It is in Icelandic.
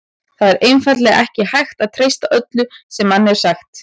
Það er einfaldlega ekki hægt að treysta öllu sem manni er sagt.